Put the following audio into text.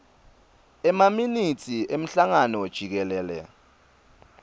emaminitsi emhlangano jikelele